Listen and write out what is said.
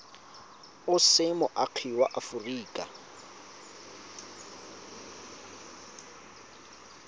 o se moagi wa aforika